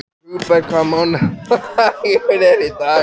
Hugberg, hvaða mánaðardagur er í dag?